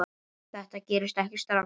Þetta gerist ekki strax.